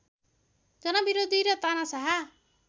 जनविरोधी र तानाशाह